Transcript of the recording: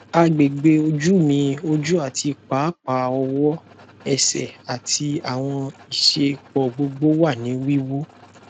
agbegbe oju mi oju ati paapaa ọwọ ẹsẹ ati awọn isẹpo gbogbo wa ni wiwu